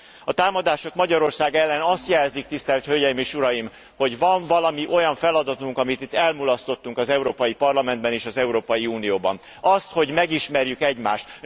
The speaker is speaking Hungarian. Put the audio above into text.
A támadások Magyarország ellen azt jelzik, tisztelt hölgyeim és uraim, hogy van valami olyan feladatunk, amit itt elmulasztottunk az Európai Parlamentben és az Európai Unióban, az, hogy megismerjük egymást.